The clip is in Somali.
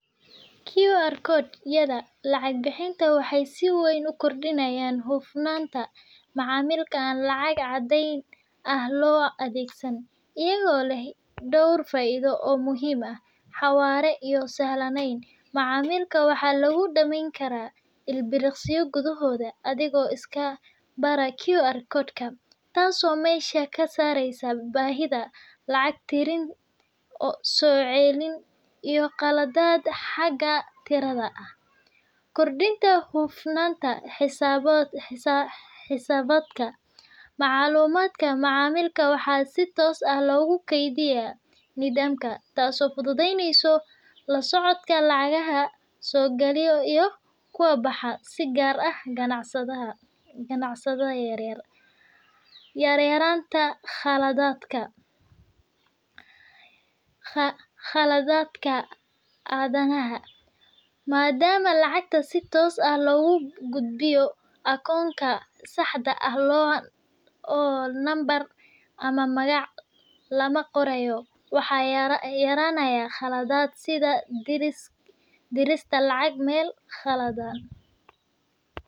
QR code yada lacag bixinta waxay si weyn u kordhiyaan hufnaanta macaamilka aan lacag caddan ah loo adeegsan, iyagoo leh dhowr faa’iido oo muhiim ah Xawaare iyo Sahlaneyn. Macaamilka waxaa lagu dhammayn karaa ilbiriqsiyo gudahood adigoo iska baara QR code-ka, taas oo meesha ka saaraysa baahida lacag tirin, soo celin iyo qaladaad xagga tirada ah. Kordhinta Hufnaanta XisaabaadkaMacluumaadka macaamilka waxaa si toos ah loogu keydiyaa nidaamka, taasoo fududeysa la socodka lacagaha soo gala iyo kuwa baxa, si gaar ah ganacsiyada yaryar. Yareynta Khaladaadka Aadanaha. Maadaama lacagta si toos ah loogu gudbiyo akoonka saxda ah oo lambar ama magaca lama qorayo, waxaa yaraanaya khaladaad sida dirista lacag meel khaldan. Amaan Sare. QR code-yadu waxay hoos u dhigaan halista la xiriirta lacagaha been abuurka ah ama la xado, sababtoo ah dhammaan macaamillada waxay maraan nidaamyo la xaqiijiyey oo dijitaal ah. La jaanqaadka Teknolojiyadda Casriga ah .Isticmaalka QR code-ka wuxuu dhiirrigeliyaa adeegsi ballaaran oo lacagta dijitaalka ah, taasoo muhiim u ah bulshooyinka u guuraya dhinaca . Kordhinta Kalsoonida Macaamiisha. Marka macaamilku arko in ganacsigu adeegsado hababka casriga ah ee lacag bixinta, waxay dhistaa kalsooni waxayna sare u qaadaa fursadaha in macaamiilku soo laabtaan.